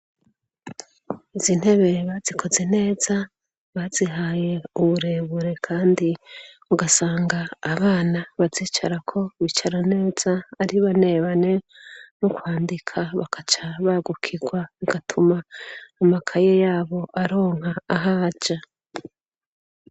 Izi ntebe bazikoze neza, bazihaye uburebure kandi ugasanga abana bazicarako bicara neza, ari bane bane, no kwandika bakaca bagukirwa bigatuma amakaye yabo aronka ahaja.